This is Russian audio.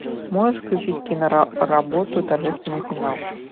можешь включить киноработу торжественный финал